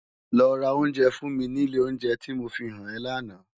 Lò rá óunjè fún mi ni ilé óunjè ti mó fihán è làná